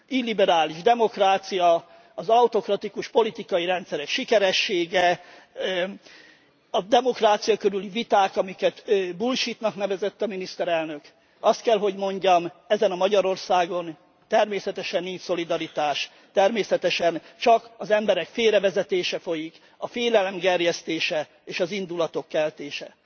Illiberális demokrácia, az autokratikus politikai rendszerek sikeressége, a demokrácia körüli viták, amiket bullshit nek nevezett a miniszterelnök, azt kell hogy mondjam, ezen a Magyarországon természetesen nincs szolidaritás, természetesen csak az emberek félrevezetése folyik, a félelem gerjesztése és az indulatok keltése.